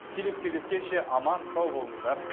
келесі кездескеше аман сау болыңыздар